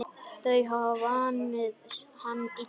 Þau hafa vanið hann illa.